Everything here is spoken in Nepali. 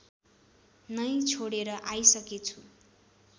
नै छोडेर आइसकेछु